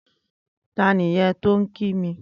Tàní yèn tó n kí mi?